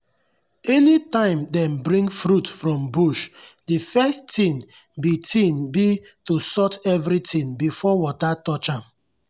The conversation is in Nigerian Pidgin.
any time dem bring fruit from bush the first thing be thing be to sort everything before water touch am.